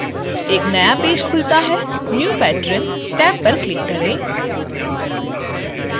एक नया पेज खुलता है new patron टैब पर क्लिक करें